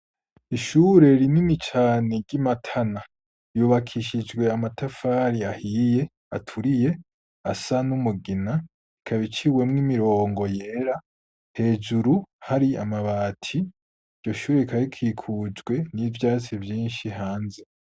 Ishure rinini cane ry'i matana yubakishijwe amatafari ahiye aturiye asa n'umugina ikabiciwe mw'imirongo yera hejuru hari amabati ryo shuri rikarikikujwe n'ivyatsi binshi hanze.